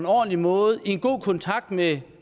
ordentlig måde i en god kontakt med